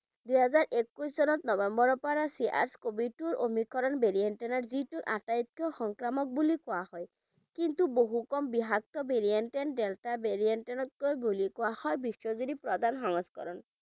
দুহেজাৰ একৈছ চনত নবেম্বৰৰ পৰা cas covid টো Omicron varient ৰ যিটো আটাইতকৈ সংক্ৰামক বুলি কোৱা হয় কিন্তু বহু কম বিষাক্ত variant delta variant তকৈ বুলি কোৱা হয় বিশ্বজুৰি প্ৰদান সংস্কৰণ